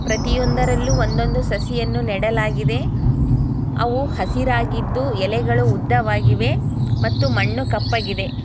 ಪ್ರತಿಯೊಂದರಲ್ಲೂ ಒಂದೊಂದು ಸಸಿಯನ್ನು ನೆಡಲಾಗಿದೆ ಅವು ಹಸಿರಾಗಿದ್ದು ಎಲೆಗಳು ಉದ್ದವಾಗಿವೆ ಮತ್ತು ಮಣ್ಣು ಕಪ್ಪಗಿದೆ.